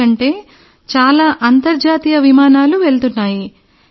ఎందుకంటే చాలా అంతర్జాతీయ విమానాలు వెళ్తున్నాయి